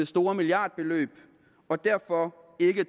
store milliardbeløb og derfor